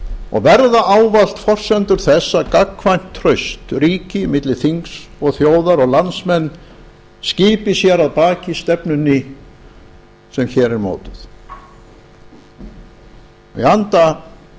og verða ávallt forsendur þess að gagnkvæmt traust myndist milli þings og þjóðar og landsmenn skipi sér að baki stefnunni sem hér er mótuð í anda